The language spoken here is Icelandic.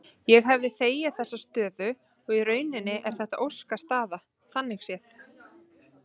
Ég hefði þegið þessa stöðu og í rauninni er þetta óskastaða þannig séð.